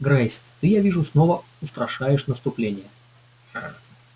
грейс ты я вижу снова устрашаешь наступление